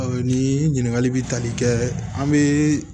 Ni ɲininkali bɛ tali kɛ an bɛ